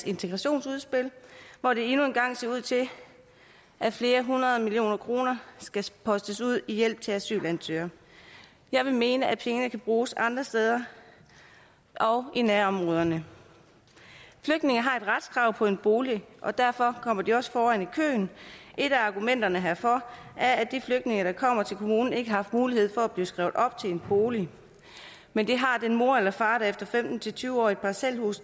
integrationsudspil hvor det endnu en gang ser ud til at flere hundrede millioner kroner skal postes ud i hjælp til asylansøgere jeg vil mene at pengene kan bruges andre steder i nærområderne flygtninge har et retskrav på en bolig og derfor kommer de også foran i køen et af argumenterne herfor er at de flygtninge der kommer til kommunen ikke har haft mulighed for at blive skrevet op til en bolig men det har den mor eller far efter femten til tyve år i parcelhus